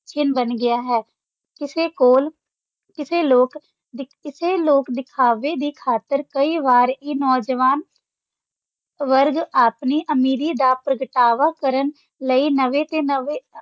ਚਿੰਨ੍ਹ ਬਣ ਗਿਆ ਹੈ, ਕਿਸੇ ਕੋਲ ਕਿਸੇ ਲੋਕ ਦਿਖ~ ਇਸੇ ਲੋਕ-ਦਿਖਾਵੇ ਦੀ ਖ਼ਾਤਰ ਕਈ ਵਾਰ ਇਹ ਨੌਜਵਾਨ ਵਰਗ ਆਪਣੀ ਅਮੀਰੀ ਦਾ ਪ੍ਰਗਟਾਵਾ ਕਰਨ ਲਈ ਨਵੇਂ ਤੇ ਨਵੇਂ